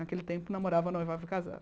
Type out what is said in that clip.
Naquele tempo, namorava, noivava e casava.